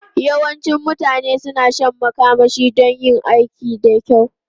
Yawancin mutane suna shan makamashi don yin aiki da kyau.